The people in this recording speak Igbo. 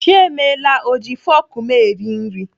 Chiemela ọ ji fọk m eri nri?